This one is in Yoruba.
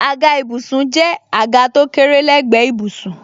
Àga ìbùsùn jẹ́ àga tó kéré lé gbe ìbùsùn.